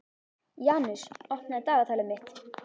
Janus, opnaðu dagatalið mitt.